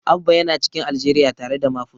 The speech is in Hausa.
Abba yana cikin Aljeriya tare da Mafus.